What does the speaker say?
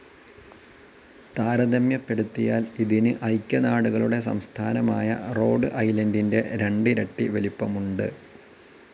താരതമ്യപ്പെടുത്തിയാൽ ഇതിന് ഐക്യനാടുകളുടെ സംസ്ഥാനമായ റോഡ്‌ ഐലണ്ടിൻ്റെ രണ്ടിരട്ടി വലിപ്പമുണ്ട്.